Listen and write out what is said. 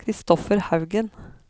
Christopher Haugen